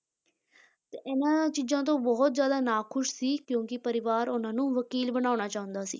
ਤੇ ਇਹਨਾਂ ਚੀਜ਼ਾਂ ਤੋਂ ਬਹੁਤ ਜ਼ਿਆਦਾ ਨਾਖ਼ੁਸ਼ ਸੀ ਕਿਉਂਕਿ ਪਰਿਵਾਰ ਉਹਨਾਂ ਨੂੰ ਵਕੀਲ ਬਣਾਉਣਾ ਚਾਹੁੰਦਾ ਸੀ